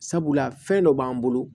Sabula fɛn dɔ b'an bolo